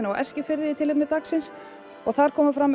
á Eskifirði í tilefni dagsins þar komu fram